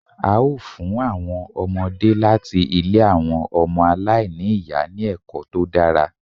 A ó fún àwọn ọmọdé láti ilé àwọn ọmọ aláìní ìyá ní ẹ̀kọ́ tó dára